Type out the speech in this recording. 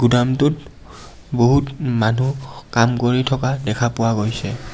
গুদামটোত বহুত মানুহ কাম কৰি থকা দেখা পোৱা গৈছে.